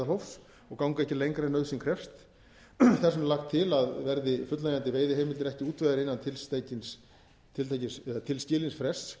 meðalhófs og ganga ekki lengra en nauðsyn krefst þess vegna er lagt til að verði fullnægjandi veiðiheimildir ekki útvegaðar innan tilskilins frests